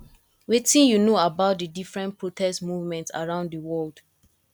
wetin you you know about di different protest movement around di world